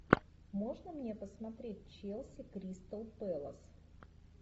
можно мне посмотреть челси кристал пэлас